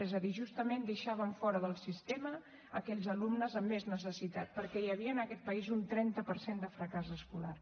és a dir justament deixàvem fora del sistema aquells alumnes amb més necessitat perquè hi havia en aquest país un trenta per cent de fracàs escolar